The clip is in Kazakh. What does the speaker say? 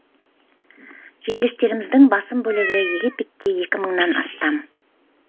жерлестеріміздің басым бөлігі египетте екі мыңнан астам